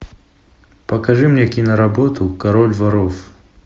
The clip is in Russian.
покажи мне киноработу король воров